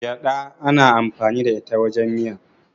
gyada ana amfani da ita wajen miya